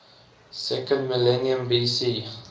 second millennium bc